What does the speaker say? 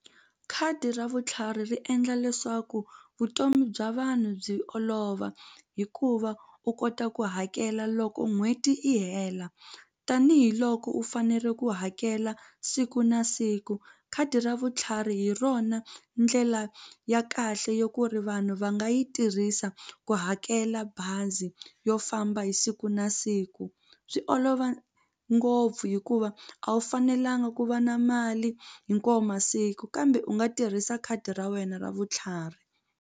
Khadi ra vutlhari ri endla leswaku vutomi bya vanhu byi olova hikuva u kota ku hakela loko n'hweti yi hela tanihiloko u fanele ku hakela siku na siku khadi ra vutlhari hi rona ndlela ya kahle ya ku ri vanhu va nga yi tirhisa ku hakela bazi yo famba hi siku na siku swi olova ngopfu hikuva a wu fanelanga ku va na mali hinkwayo masiku kambe u nga tirhisa khadi ra wena ra vutlhari.